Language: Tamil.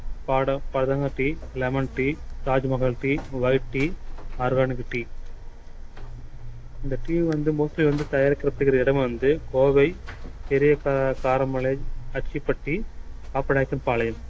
பாடம் பதங்க tea lemon tea Taj Mahal teawhite tea organic tea இந்த tea வந்து mostly வந்து தயாரிக்கிறதுக்கு இடம் வந்து கோவை பெரிய க~ காரமலை பாப்பநாயக்கன்பாளையம்